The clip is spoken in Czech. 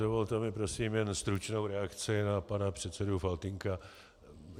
Dovolte mi prosím jen stručnou reakci na pana předsedu Faltýnka.